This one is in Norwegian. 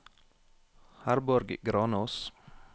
Herborg Granås